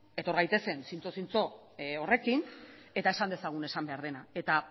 etor gaitezen zintzo zintzo horrekin eta esan dezagun esan behar dena eta